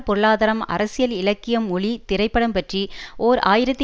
பொருளாதாரம் அரசியல் இலக்கியம் மொழி திரைப்படம் பற்றி ஓர் ஆயிரத்தி